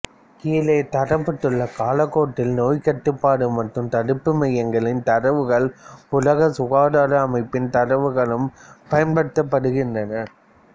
கீழே தரப்பட்டுள்ள காலக்கோட்டில் நோய் கட்டுப்பாடு மற்றும் தடுப்பு மையங்களின் தரவுகளும் உலக சுகாதார அமைப்பின் தரவுகளும் பயன்படுத்தப்பட்டுள்ளன